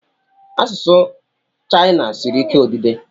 Asụsụ Chayina siri ike odide.